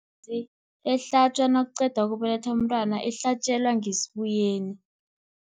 Imbuzi ehlatjwa nakuqedwa ukubelethwa umntwana ihlatjelwa ngesibuyeni.